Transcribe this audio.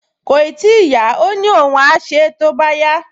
Kòì tíì yá, ó ní òun á ṣe é tó bá yá